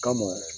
Kama